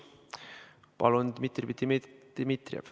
Palun, Dmitri Dmitrijev!